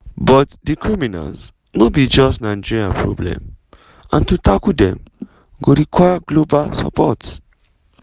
but di criminals no be just nigeria problem and to tackle dem go require global support.